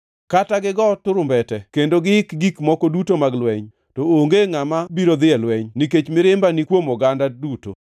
“ ‘Kata gigo turumbete, kendo giik gik moko duto mag lweny, to onge ngʼama biro dhi e lweny, nikech mirimba ni kuom oganda duto.